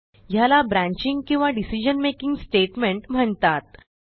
ह्याला ब्रांचिंग किंवा decision making statement म्हणतात